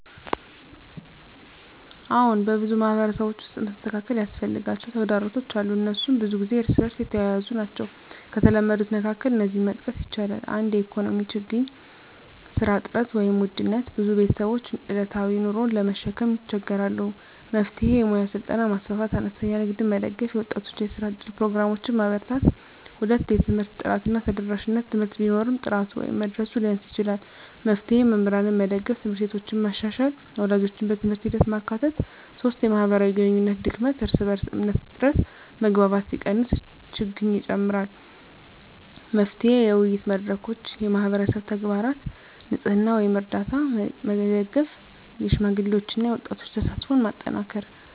አዎን፣ በብዙ ማህበረሰቦች ውስጥ መስተካከል ያስፈልጋቸው ተግዳሮቶች አሉ፤ እነሱም ብዙ ጊዜ እርስ በእርስ የተያያዙ ናቸው። ከተለመዱት መካከል እነዚህን መጥቀስ ይቻላል፦ 1) የኢኮኖሚ ችግኝ (ስራ እጥረት፣ ውድነት): ብዙ ቤተሰቦች ዕለታዊ ኑሮን ለመሸከም ይቸገራሉ። መፍትሄ: የሙያ ስልጠና ማስፋፋት፣ አነስተኛ ንግድን መደገፍ፣ የወጣቶች የስራ እድል ፕሮግራሞችን ማበርታት። 2) የትምህርት ጥራት እና ተደራሽነት: ትምህርት ቢኖርም ጥራቱ ወይም መድረሱ ሊያንስ ይችላል። መፍትሄ: መምህራንን መደገፍ፣ ት/ቤቶችን መሻሻል፣ ወላጆችን በትምህርት ሂደት ማካተት። 3) የማህበራዊ ግንኙነት ድክመት (እርስ በእርስ እምነት እጥረት): መግባባት ሲቀንስ ችግኝ ይጨምራል። መፍትሄ: የውይይት መድረኮች፣ የማህበረሰብ ተግባራት (ንፅህና፣ ርዳታ) መደገፍ፣ የሽማግሌዎችና የወጣቶች ተሳትፎን ማጠናከር።